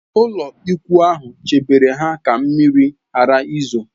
Ụlọikwuu ahụ chebere ha ka mmiri ghara izo